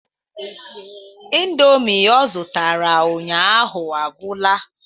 Indomie o zụtara ụnyaahụ agwụla.